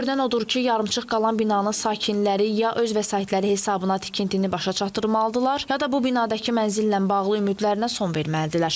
Görünən odur ki, yarımçıq qalan binanın sakinləri ya öz vəsaitləri hesabına tikintini başa çatdırmalıdırlar, ya da bu binadakı mənzillə bağlı ümidlərinə son verməlidirlər.